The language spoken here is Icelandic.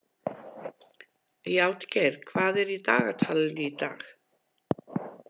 Játgeir, hvað er í dagatalinu í dag?